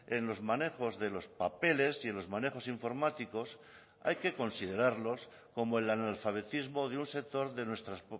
en los manejos de los papeles y en los manejos informáticos hay que considerarlos como el analfabetismo de un sector de nuestras